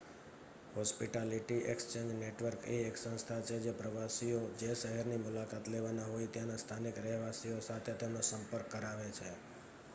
hospitality exchange network એ એક સંસ્થા છે જે પ્રવાસીઓ જે શહેરોની મુલાકાત લેવાના હોય ત્યાંના સ્થાનિક રહેવાસીઓ સાથે તેમનો સંપર્ક કરાવે છે